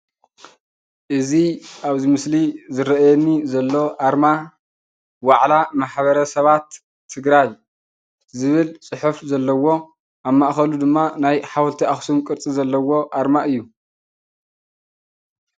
እዚ ኣብዚ ምስሊ ይርአየኒ ዘሎ ኣርማ ዋዕላ ማሕበረሰባት ትግራይ ዝብል ፅሑፍ ዘለዎ ኣብ ማእከሉ ድማ ናይ ሓወልቲ ኣኽሱም ቅርፂ ዘለዎ ኣርማ እዩ፡፡